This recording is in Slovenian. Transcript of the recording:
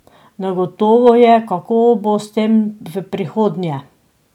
Negotovo je, kako bo s tem v prihodnje.